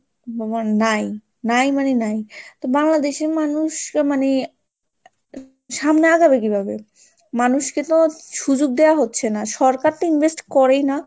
আমার নাই, নাই মানে নাই তো বাংলাদেশের মানুষরা মানে সামনে আগাবে কি ভাবে? মানুষকে তো সুযোগ দেওয়া হচ্ছে না, সরকার তো invest করেই না।